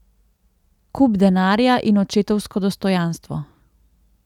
Kup denarja in očetovsko dostojanstvo.